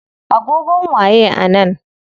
Agogon waye a nan?